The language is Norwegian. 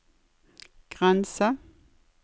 grense